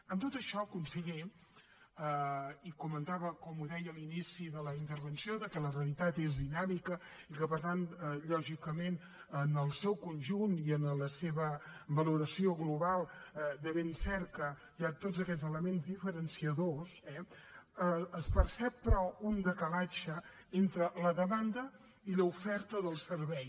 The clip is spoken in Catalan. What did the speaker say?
amb tot això conseller comentava com deia a l’inici de la intervenció que la realitat és dinàmica i que per tant lògicament en el seu conjunt i en la seva valoració global de ben cert que hi ha tots aquests elements diferenciadors eh es percep però un decalatge entre la demanda i l’oferta del servei